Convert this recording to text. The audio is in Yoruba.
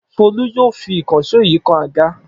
Folú yóò fi ìkànṣó yìí kan àga!